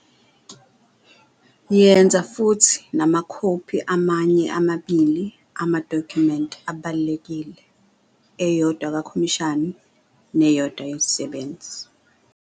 Yenza futhi namakhophi amanye amabili amadokhumenti abalulekile, eyodwa kakhomishani neyodwa yesisebenzi.